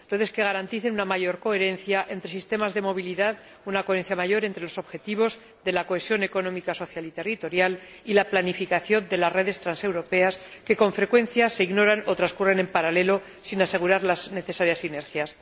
redes que garanticen una mayor coherencia entre sistemas de movilidad, una mayor coherencia entre los objetivos de la cohesión económica, social y territorial y la planificación de las redes transeuropeas, que, con frecuencia, se ignoran o transcurren en paralelo sin asegurar las necesarias inercias.